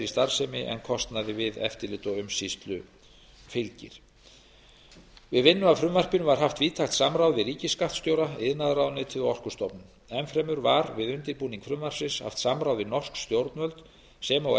starfsemi en kostnaði við eftirlit og umsýslu fylgir við vinnu að frumvarpinu var haft víðtækt samráð við ríkisskattstjóra iðnaðarráðuneytið og orkustofnun enn fremur var við undirbúning frumvarpsins haft samráð við norsk stjórnvöld sem og